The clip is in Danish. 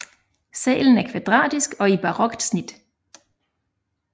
Salen er kvadratisk og i barokt snit